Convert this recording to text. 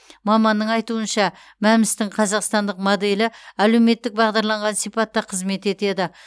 маманның айтуынша мәмс тің қазақстандық моделі әлеуметтік бағдарланған сипатта қызмет етеді